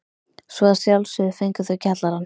Svo að sjálfsögðu fengu þau kjallarann.